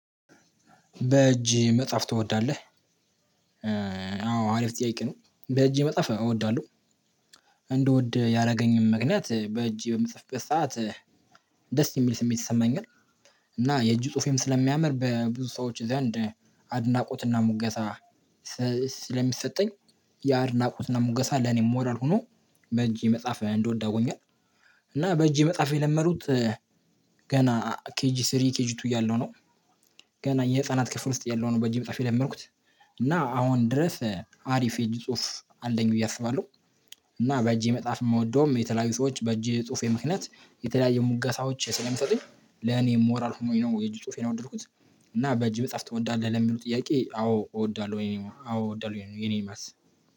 በእጅ መጽሐፍ ትወዳለህ? አዎ አሪፍ ጥያቄ ነው በእጅ መጽሐፍ እወዳለሁ። እንደወደ ያደረገኝም ምክንያት በእጅ በምጽፍበት ሰዓት ደስ የሚል ስሜት ይሰማኛል። እና የእጁ ጽሁፌም ስለሚያምር በብዙ ሰዎች ዘንድ አድናቆትና ሙገሳ ስለሚሰጠኝ ያ አድናቆትና ሙገሳ ለኔ ሞራል ሆኖ በእጄ መጽሐፍ እንድወድ አርጎኛል። እና በእጄ መጽሐፍ የለመዱት ገና ኬጂ ሶስት ኬጂ ሁለት እያለው ነው። ገና የህፃናት ክፍል ውስጥ እየለው በእጄ መጽሐፍ የለመድኩት። እና አሁን ድረስ አሪፍ የእጅ ጽሁፍ አለኝ ብዬ አስባለሁ። እና በእጄ መጽሐፍ የምወደውም የተለያዩ ሰዎች በእጄ ጽሁፌ ምክንያት የተለያየ ሙጋሳዎች ስለሚሰጡኝ ለኔ ሞራል ሆኖኝ ነው የእጅ ጽሁፌን ነው የወደድኩት። እና በጅ በፃፍ ትወዳለህ? ለሚለው ጥያቄ አዎ እወዳለሁ ወይ አዎ እወዳለሁ ነው የኔ መልስ።